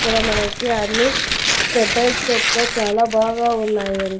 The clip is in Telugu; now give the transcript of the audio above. ఇక్కడ మనకి అన్ని స్టెప్ బై స్టెప్ గా చాలా బాగా ఉన్నాయండి.